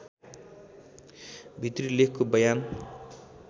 भित्री लेखको बयान